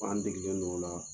Ko an degelen do o la.